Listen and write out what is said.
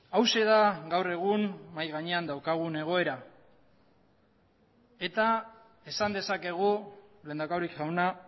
hauxe da gaur egun mahai gainean daukagun egoera eta esan dezakegu lehendakari jauna